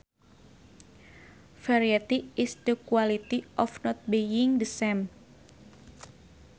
Variety is the quality of not being the same